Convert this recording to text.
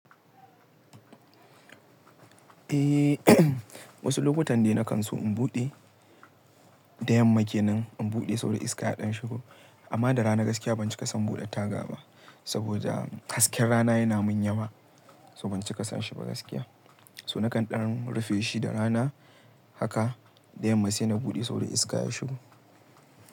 Eh, wasu lokutan dai na kan so in buɗe da yamma ke nan in buɗe sabo da iska ya ɗan shigo. Amma da rana gaskiya ban cika son buɗe taga ba saboda hasken rana yana min yawa, so ban cika san shi ba gaskiya. So na kan ɗan rufe shi da rana haka da yamma sai na buɗe sau da iska ya shigo.